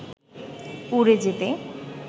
উড়ে যেতে